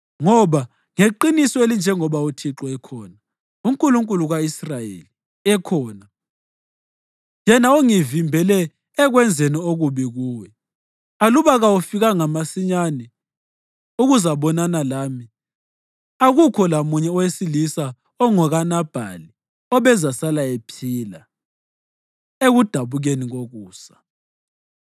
Ngoba, ngeqiniso elinjengoba uThixo, uNkulunkulu ka-Israyeli, ekhona, yena ongivimbele ekwenzeni okubi kuwe, aluba kawufikanga masinyane ukuzabonana lami, akukho lamunye owesilisa ongokaNabhali obezasala ephila ekudabukeni kokusa.”